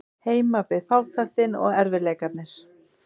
Heima beið fátæktin og erfiðleikarnir.